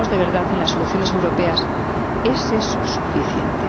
si creemos de verdad en las soluciones europeas, ¿es eso suficiente?